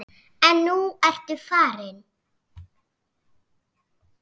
En nú ertu farin.